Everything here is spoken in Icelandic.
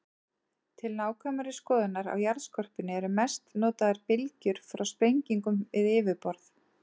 Til nákvæmari skoðunar á jarðskorpunni eru mest notaðar bylgjur frá sprengingum við yfirborð.